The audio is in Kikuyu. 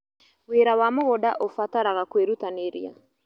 Wĩra wa mũgũnda ũbataraga kwĩrutanĩria.